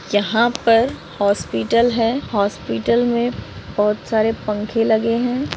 यहाँ पर हॉस्पिटल है हॉस्पिटल मे बहुत सारे पंखे लगे है।